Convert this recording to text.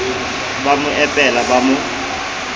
ba mo epela ba mo